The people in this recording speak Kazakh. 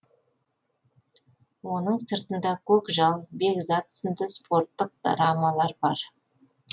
оның сыртында көкжал бекзат сынды спорттық драмалар бар